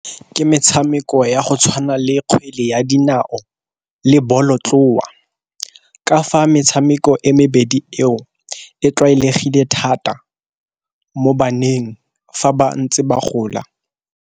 Ke metshameko ya go tshwana le kgwele ya dinao le bolotloa, ka fa metshameko e mebedi eo e tlwaelegile thata mo baneng fa ba ntse ba gola.